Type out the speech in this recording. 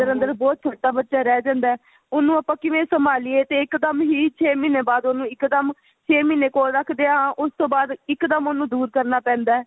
ਅੰਦਰ ਬਹੁਤ ਛੋਟਾ ਬੱਚਾ ਰਹਿ ਜਾਂਦਾ ਉਹਨੂੰ ਆਪਾਂ ਕਿਵੇਂ ਸੰਭਾਲੀਏ ਤੇ ਇੱਕ ਦਮ ਹੀ ਛੇ ਮਹੀਨੇ ਬਾਅਦ ਉਹਨੂੰ ਇੱਕ ਦਮ ਛੇ ਮਹੀਨੇ ਕੋਲ ਰੱਖਦਿਆਂ ਉਸ ਤੋਂ ਬਾਅਦ ਇੱਕ ਦਮ ਉਹਨੂੰ ਦੂਰ ਕਰਨਾ ਪੈਂਦਾ